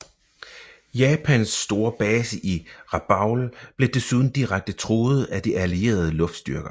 Japans store base i Rabaul blev desuden direkte truet af de allierede luftstyrker